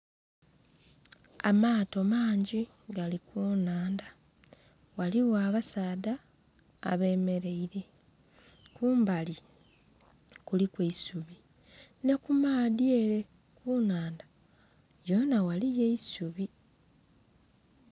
Amaato mangi gali ku nhandha ghaligho abasaadha abemereire kumbali kuliku eisubi ne kumaadhi ere ku nhandha yoona ghaliyo eisubi.